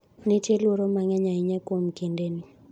nitie luoro mang'eny ahinya kuom kindeni